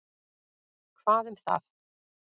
Hvað um það?